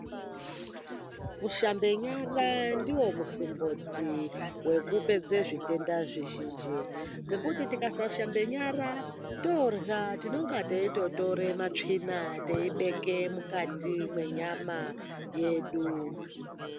Kushambe nyara ndiwo musimboti wekupedze zvitenta zvizhinji ngokuti tikasashambe nyara torya tinenge teitotora matsvina teibeke mukati mwenyama yedu.